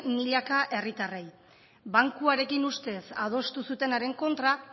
milaka herritarrei bankuarekin ustez adostu zutenaren kontra